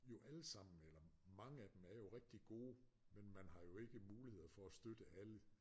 Jo allesammen eller mange af dem er jo rigtig gode men man har jo ikke muligheder for at støtte alle